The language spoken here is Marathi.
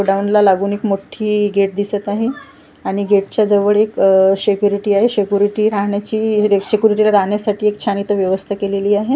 गोडाऊनला लागून एक मोठी गेट दिसत आहे आणि गेटच्या जवळ एक अ सेक्युरिटी आहे सेक्युरिटी राहण्याची सेक्युरिटीला राहण्यासाठी एक छान इथं व्यवस्था केलेली आहे.